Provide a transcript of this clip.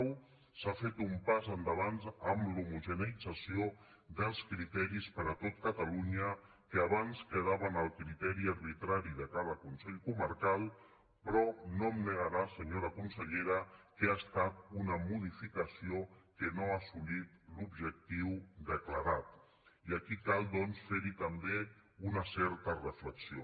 ho s’ha fet un pas endavant amb l’homogeneïtzació dels criteris per a tot catalunya que abans quedaven al criteri arbitrari de cada consell comarcal però no em negarà senyora consellera que ha estat una modificació que no ha assolit l’objectiu declarat i aquí cal doncs fer hi també una certa reflexió